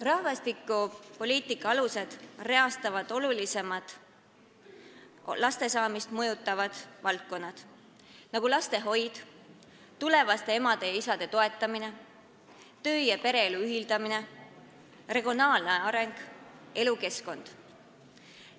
Rahvastikupoliitika alused reastavad olulisemad laste saamist mõjutavad valdkonnad, nagu lastehoid, tulevaste emade ja isade toetamine, töö- ja pereelu ühitamine, regionaalne areng, elukeskkond.